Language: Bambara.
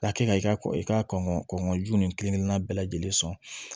Ka kɛ ka i ka kɔkɔ i ka kɔnɔnju nin kelen kelenna bɛɛ lajɛlen sɔn